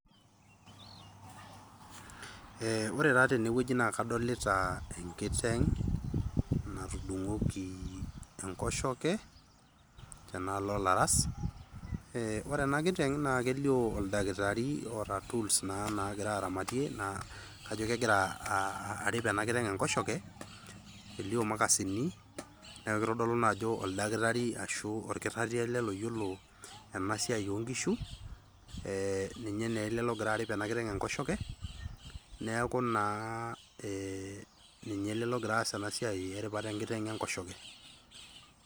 eh, ore taa tenewueji naa kadolita enkiteng natudung'oki enkoshoke tenaalo olaras, ore ena kiteng naa kelio oldakitari oota tools naa naagira aramatie naa kajo kegira uh, arip ena kiteng enkoshoke elio imakasini naa kitodolu naa ajo oldakitari ashu orkitarri ele loyiolo ena siai onkishu eh, ninye naa ele logira arip ena kiteng enkoshoke neeku naa eh, ninye ele logira aas ena siai naa eripata enkiteng enkoshoke.